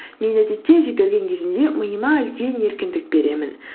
мен әдетте жүгірген кезімде миыма үлкен еркіндік беремін